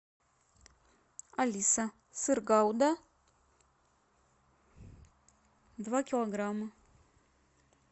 алиса сыр гауда два килограмма